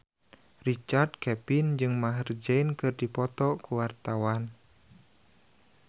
Richard Kevin jeung Maher Zein keur dipoto ku wartawan